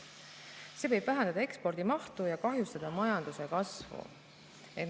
See võib vähendada ekspordi mahtu ja kahjustada majanduskasvu.